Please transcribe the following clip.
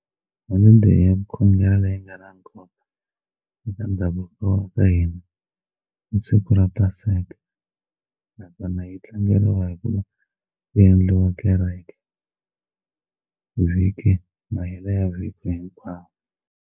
Holideyi ya ku khongela leyi nga na nkoka eka ndhavuko wa ka hina i siku ra paseka nakona yi tlangeriwa hi ku va ku endliwa kereke vhiki mahelo ya vhiki hinkwaro.